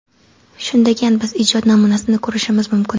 Shundagan biz ijod namunasini ko‘rishimiz mumkin.